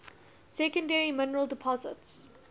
secondary mineral deposits